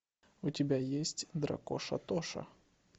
у тебя есть дракоша тоша